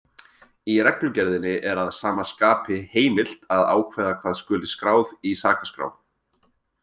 Í reglugerðinni er að sama skapi heimilt að ákveða hvað skuli skráð í sakaskrá.